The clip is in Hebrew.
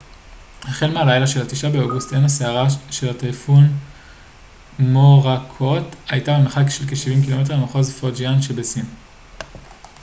החל מהלילה של התשעה באוגוסט עין הסערה של הטייפון מוראקוט הייתה במרחק של כשבעים קילומטר ממחוז פוג'יאן שבסין